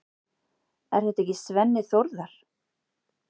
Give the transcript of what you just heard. Er þetta ekki Svenni Þórðar?